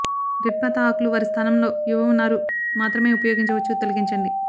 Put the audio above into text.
dead పాత ఆకులు వారి స్థానంలో యువ ఉన్నారు మాత్రమే ఉపయోగించవచ్చు తొలగించండి